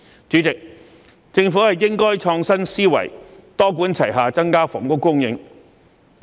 主席，政府應該創新思維，多管齊下增加房屋供應。